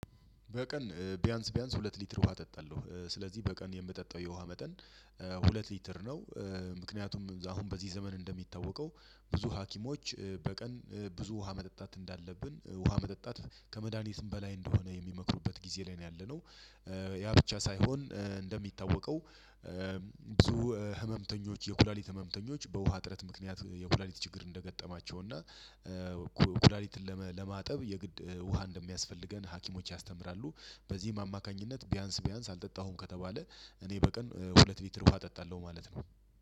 በቀን ቢያንስ ቢያንስ ሁለት ሊትር ውሃ እጠጣለሁ ስለዚህ በቀን የምጠጣው የውሃ መጠን ሁለት ሊትር ነው። ምክንያቱም አሁን በዚህ ዘመን እንደሚታወቀው ብዙ ሀኪሞች በቀን ብዙ ውሃ መጠጣት እንዳለብን ውሃ መጠጣት ከመድሃኒትም በላይ እንደሆነ የሚመክሩበት ጊዜ ላይ ነው ያለነው። ያ ብቻ ሳይሆን እንደሚታወቀው ብዙ ህመምተኞች የኩላሊት ህመምተኞች በውሃ እጥረት ምክንያት የኩላሊት ችግር እንደገጠማቸው እና ኩላሊትን ለማጠብ የግድ ውሃ እንደሚያስፈልገን ሀኪሞች ያስተምራሉ። በዚህም አማካኝነት ቢያንስ ቢያንስ አልጠጣሁም ከተባለ እኔ በቀን ሁለት ሊትር ውሃ እጠጣለሁ ማለት ነው።